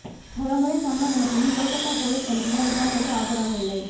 பல முறை சம்மன் அனுப்பியும் கொல்கத்தா போலீஸ் கமிஷனர் விசாரணைக்கு ஆஜராகவில்லை